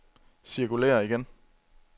cirkulér igen